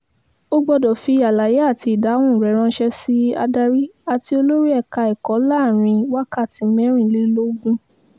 o gbọ́dọ̀ fi àlàyé àti ìdáhùn rẹ ránṣẹ́ sí adarí àti olórí ẹ̀ka ẹ̀kọ́ láàrin wákàtí mẹ́rìnlélógún